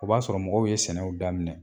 O b'a sɔrɔ mɔgɔw ye sɛnɛw daminɛ.